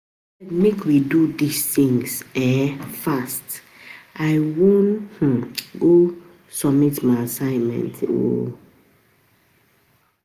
Abeg make we do dis thing um fast I wan um go submit my assignment um